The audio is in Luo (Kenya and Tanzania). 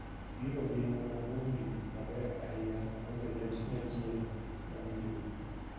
Gigo gin moko kuom gik mabeyo ahinya moseket ne tieng' mabiro.